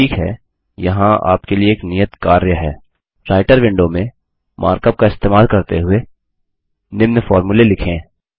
ठीक है यहाँ आपके लिए एक नियत कार्य है राईटर विंडो में मार्कअप का इस्तेमाल करते हुए निम्न फ़ॉर्मूले लिखें